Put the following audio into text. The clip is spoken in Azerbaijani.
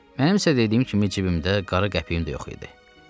Mənim isə dediyim kimi cibimdə qara qəpiyim də yox idi.